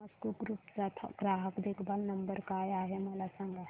Thomas Cook group चा ग्राहक देखभाल नंबर काय आहे मला सांगा